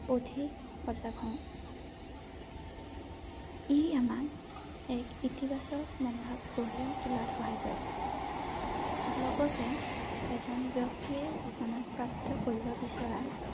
অধিক সজাগ হওঁ ৷ ই আমাক এক ইতিবাচক মনোভাৱ গঢ়ি তুলাত সহায় কৰে লগতে এজন ব্যক্তিয়ে জীৱনত প্ৰাপ্ত কৰিব বিচৰা